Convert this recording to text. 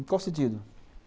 Em qual sentido?